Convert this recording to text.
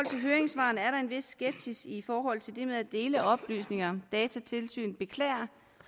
til høringssvarene er der en vis skepsis i forhold til det med at dele oplysninger datatilsynet beklager